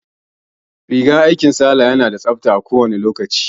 Rigar aikin Salaha ya na da tsabta kowane lokaci